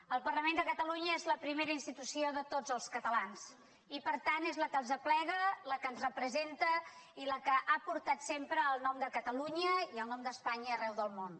el parlament de catalunya és la primera institució de tots els catalans i per tant és la que els aplega la que ens representa i la que ha portat sempre el nom de catalunya i el nom d’espanya arreu del món